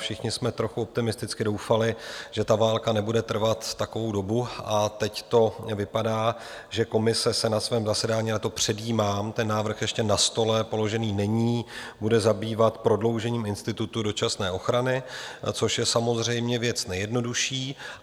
Všichni jsme trochu optimisticky doufali, že ta válka nebude trvat takovou dobu, a teď to vypadá, že Komise se na svém zasedání - a to předjímám, ten návrh ještě na stole položen není - bude zabývat prodloužením institutu dočasné ochrany, což je samozřejmě věc nejjednodušší.